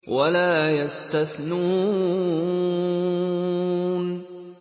وَلَا يَسْتَثْنُونَ